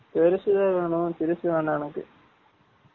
பேருசு தேன் வேனும் சிருசு வேனாம் எனக்கு